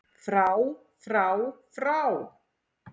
FRÁ FRÁ FRÁ